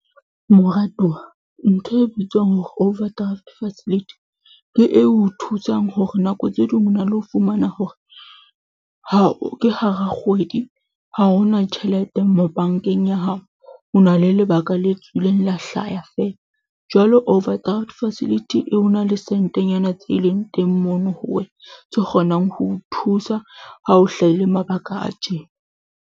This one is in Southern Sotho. Moratuwa ntho e bitswang hore overdraft facility ke eo o thusang hore nako tse ding o na le ho fumana hore, ha o ke hara kgwedi ha hona tjhelete mo bank-eng ya hao. O na le lebaka le tswileng, la hlaya feela jwalo overdraft facility eo ho na le sentenyana tse leng teng mono ho wena tse kgonang ho o thusa. Ha o hlahile mabaka a tjena.